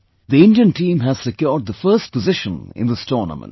The Indian team has secured the first position in this tournament